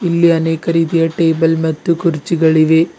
ಇಲ್ಲಿ ಅನೇಕ ರೀತಿಯ ಟೇಬಲ್ ಮತ್ತು ಕುರ್ಚಿಗಳಿವೆ.